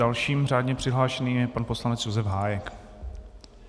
Dalším řádně přihlášeným je pan poslanec Josef Hájek.